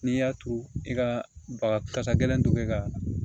N'i y'a turu i ka baga kasa gɛlɛn ka